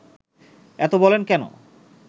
এত বলেন কেন